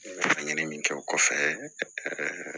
Laɲini min kɛ o kɔfɛ